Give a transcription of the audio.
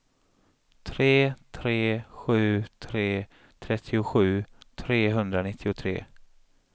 tre tre sju tre trettiosju trehundranittiotre